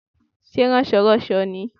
Sé rànsoránso ni i?